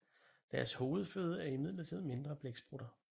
Deres hovedføde er imidlertid mindre blæksprutter